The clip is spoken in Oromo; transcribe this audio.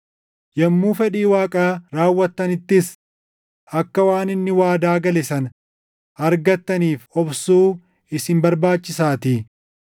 Yommuu fedhii Waaqaa raawwattanittis akka waan inni waadaa gale sana argattaniif obsuu isin barbaachisaatii.